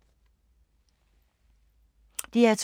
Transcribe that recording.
DR2